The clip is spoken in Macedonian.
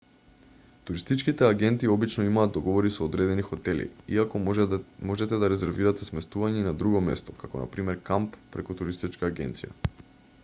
туристичките агенти обично имаат договори со одредени хотели иако можете да резервирате сместување и на друго место како на пример камп преку туристичка агенција